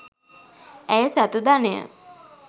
ඈය සතු ධනය